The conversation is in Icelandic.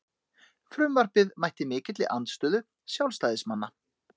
Frumvarpið mætti mikilli andstöðu sjálfstæðismanna